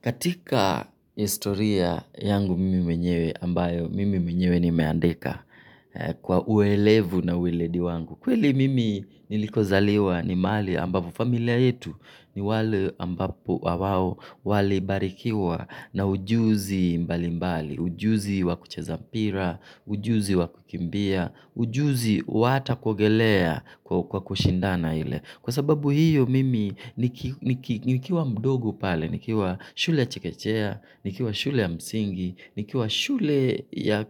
Katika historia yangu mimi mwenyewe ambayo mimi mwenyewe nimeandika kwa uelevu na ueledi wangu. Kweli mimi niliko zaliwa ni mahali ambapo familia yetu ni wale ambapo na wao wali barikiwa na ujuzi mbali mbali. Ujuzi wa kucheza mpira, ujuzi wa kukimbia, ujuzi wa hata kuogelea kwa kushindana ile. Kwa sababu hiyo mimi nikiwa mdogo pale, nikiwa shule ya chekechea, nikiwa shule ya msingi, nikiwa shule ya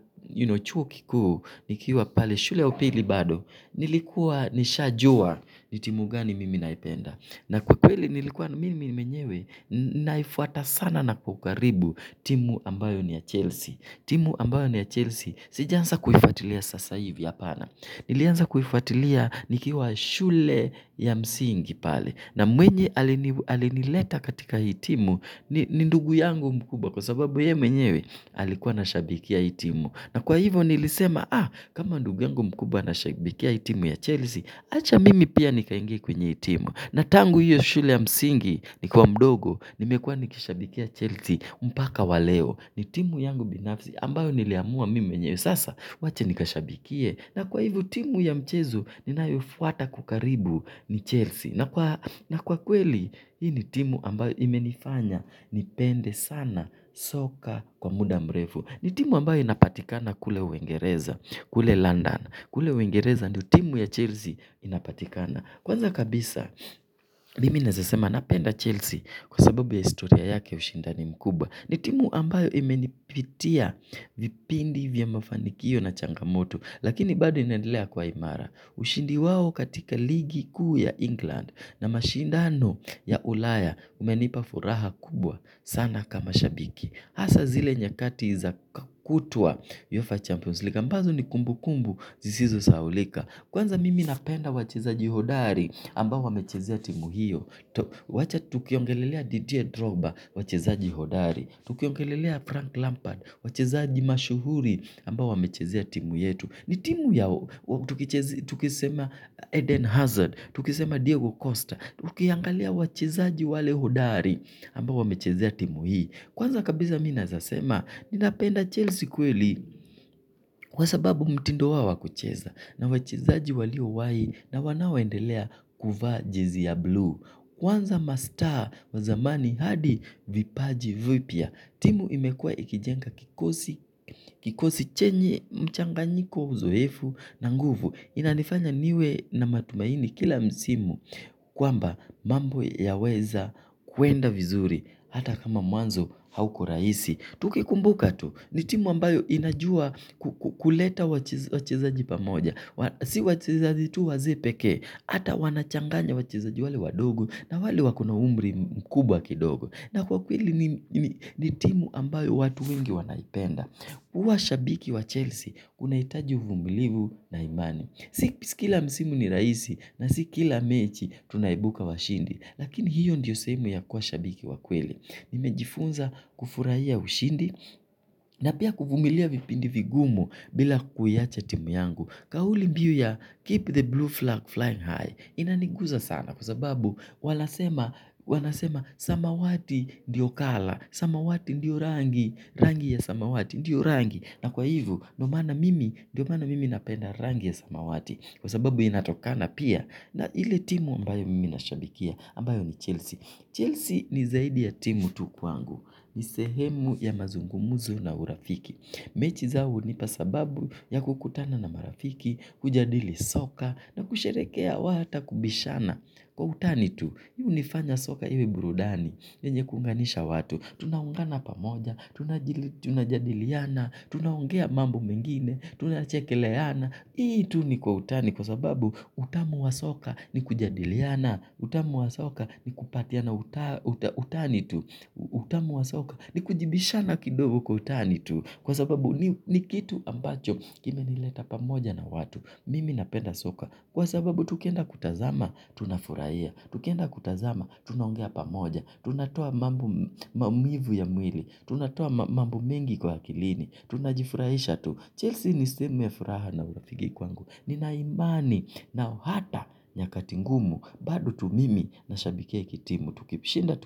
chuo kikuu, nikiwa pale shule ya upili bado, nilikuwa nisha jua ni timu gani mimi naipenda. Na kwa kweli nilikuwa mimi mwenyewe naifuata sana na kwa ukaribu timu ambayo ni ya Chelsea. Timu ambayo ni ya Chelsea sijanza kuifuatilia sasa hivi apana. Nilianza kuifatilia nikiwa shule ya msingi pale. Na mwenye alinileta katika hii timu ni ndugu yangu mkubwa kwa sababu yeye mwenyewe alikuwa anashabikia hii timu. Na kwa hivo nilisema ah kama ndugu yangu mkuba anashabikia hii timu ya Chelsea. Acha mimi pia nikaingie kwenye hitimu. Na tangu hiyo shule ya msingi nikiwa mdogo nimekwa nikishabikia Chelsea mpaka wa leo ni timu yangu binafsi ambayo niliamua mimi mwenyewe sasa wacha nikashabikie. Na kwa hivo timu ya mchezo ninayoifuata kwa karibu ni Chelsea. Na kweli hii ni timu ambayo imenifanya nipende sana ssoccer kwa muda mrefu. Ni timu ambayo inapatikana kule uengereza kule London. Kule uengereza ndio timu ya Chelsea inapatikana. Kwanza kabisa, mimi nawezasema napenda Chelsea kwa sababu ya historia yake ushinda ni mkubwa. Ni timu ambayo imenipitia vipindi vya mafanikio na changamoto. Lakini bado inaedelea kwa imara. Ushindi wawo katika ligi kuu ya England na mashindano ya ulaya umenipafuraha kubwa sana kama shabiki. Hasa zile nyakati za kutua yofa champions. Ambazo ni kumbu kumbu zisizo sahaulika. Kwanza mimi napenda wachezaji hodari ambao wamechezea timu hiyo. Wacha tukiongelelea Didier Droga wachezaji hodari. Tukiongelelea Frank Lampard wachezaji mashuhuri ambao wamechezea timu yetu. Ni timu yao, tukisema Eden Hazard, tukisema Diego Costa, tukiangalia wachezaji wale hodari ambao wamechezea timu hii. Kwanza kabisa mimi naweza sema, ni napenda Chelsea kweli kwa sababu mtindo wao wa kucheza. Na wachezaji waliowai na wanaoendelea kuvaa jezi ya buluu kwanza ma star wa zamani hadi vipaji vipya timu imekuwa ikijenga kikosi chenye mchanganyiko uzoefu na nguvu, inanifanya niwe na matumaini kila msimu kwamba mambo yaweza kuenda vizuri hata kama mwanzo hauko rahisi. Tukikumbuka tu ni timu ambayo inajua kuleta wachezaji pa moja. Si wachezaji tu wazee peke hata wanachanganya wachezaji wale wadogo na wale waki na umri mkubwa kidogo. Na kwa kweli ni timu ambayo watu wengi wanaipenda huwa shabiki wa chelsea unahitaji uvumilivu na amani. Si kila msimu ni rahisi na si kila mechi tunaibuka washindi. Lakini hiyo ndiyo sehemu ya kuwa shabiki wa kweli nimejifunza kufurahia ushindi na pia kuvumilia vipindi vigumu bila kuiacha timu yangu. Kauli biu ya keep the blue flag flying high inaniguza sana kwa sababu wanasema wanasema samawati ndio colour. Samawati ndiyo rangi, rangi ya samawati, ndiyo rangi. Na kwa hivo ndio maana mimi napenda rangi ya samawati. Kwa sababu inatokana pia na ile timu ambayo mimi nashabikia ambayo ni Chelsea Chelsea ni zaidi ya timu tu ku wangu. Ni sehemu ya mazungumuzo na urafiki. Mechi zao nihupa sababu ya kukutana na marafiki, kujadili soka na kusherehekea wata kubishana. Kwa utani tu, hii huni fanya soka iwe burudani. Yenye kuunganisha watu, tunaungana pamoja, tuna jadiliana, tunaongea mambo mengine, tuna chekeleana, hii tu ni kwa utani kwa sababu utamu wa soka ni kujadiliana, utamu wa soka ni kupatiana utani tu, utamu wa soka ni kujibishana kidogo kwa utani tu, kwa sababu ni kitu ambacho kime nileta pamoja na watu, mimi napenda soka. Kwa sababu tukienda kutazama tunafurahia, tukienda kutazama tunaongea pamoja, tunatoa maumivu ya mwili tunatoa mambo mengi kwa akili tunajifurahisha tu, chelsea ni sehemu ya furaha na urafiki kwangu ninaimani na hata nyakati ngumu. Bado tu mimi nashabikia hii kitimu. Tukishinda.